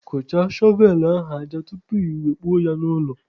Kụchaa shọvelụ ahụ aja tupu iwe kpuo ya n'ụlọ!